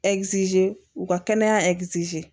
u ka kɛnɛya